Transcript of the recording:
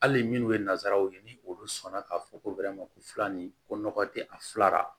Hali minnu ye nanzaraw ye ni olu sɔnna k'a fɔ ko ko fila ni ko nɔgɔ tɛ a fila la